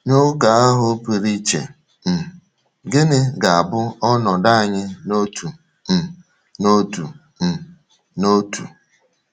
N’oge ahụ pụrụ iche um, gịnị ga - abụ ọnọdụ anyị n’otu um n’otu? um n’otu?